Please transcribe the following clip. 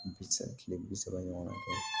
Bi seegin kile bi saba ɲɔgɔnna kɛ